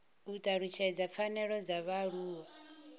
u talutshedza pfanelo dza vhaaluwa